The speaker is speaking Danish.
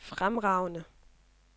fremragende